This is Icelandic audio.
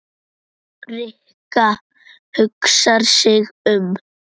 Rikka hugsar sig um.